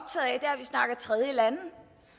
tredjelande